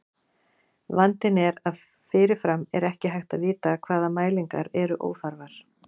Vandinn er að fyrirfram er ekki hægt að vita hvaða mælingar eru óþarfar.